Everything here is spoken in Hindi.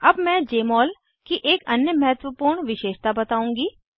अब मैं जमोल की एक अन्य महत्वपूर्ण विशेषता बताऊँगी